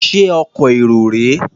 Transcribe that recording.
Ṣé ọkọ̀ èrò rèé?